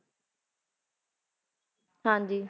ਹਾਂਜੀ